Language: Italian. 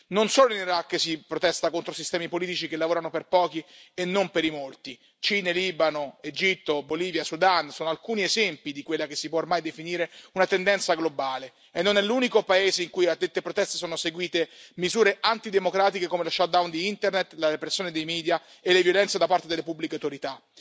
Non solo in Iraq si protesta contro sistemi politici che lavorano per pochi e non per i molti Cile, Libano, Egitto, Bolivia, Sudan sono alcuni esempi di quella che si può ormai definire una tendenza globale e non è l'unico paese in cui a dette proteste sono seguite misure antidemocratiche come lo shutdown di Internet, la repressione dei media e le violenze da parte delle pubbliche autorità.